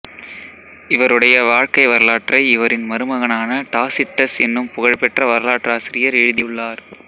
இவருடைய வாழ்க்கை வரலாற்றை இவரின் மருமகனான டாசிட்டஸ் என்னும் புகழ் பெற்ற வரலாற்றாசிரியர் ஏழுதியுள்ளார்